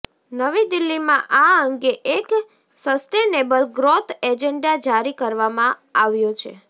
નવી દિલ્હીમાં આ અંગે એક સસ્ટેનેબલ ગ્રોથ એજન્ડા જારી કરવામાં આવ્યો છે